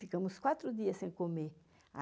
Ficamos quatro dias sem comer.